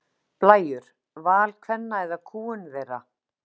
Blæjur: Val kvenna eða kúgun þeirra?